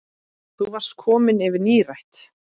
Þá varstu komin yfir nírætt.